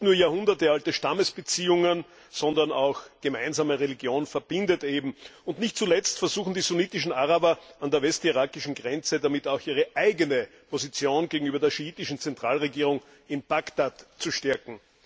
Nicht nur jahrhundertealte Stammesbeziehungen, sondern auch die gemeinsame Religion verbindet eben. Und nicht zuletzt versuchen die sunnitischen Araber an der westirakischen Grenze damit auch ihre eigene Position gegenüber der schiitischen Zentralregierung in Bagdad zu stärken.